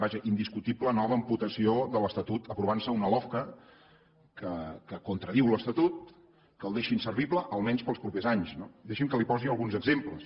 vaja indiscutible nova amputació de l’estatut i s’aprovarà una lofca que contradiu l’estatut que el deixa inservible almenys per als propers anys no deixi’m que li’n posi alguns exemples